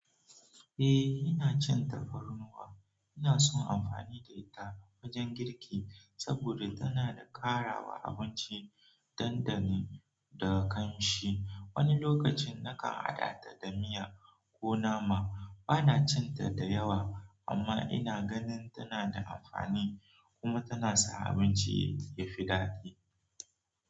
Eh, ina cin tafarnuwa. Ina son amfani da ita wajen girki saboda tana da ƙarawa abinci dandani da ƙamshi. Wani lokacin nakan hadata da miya ko nama bana cin ta da yawa, amma ina ganin tana da amfani kuma tana sa abinci ya fi daɗi.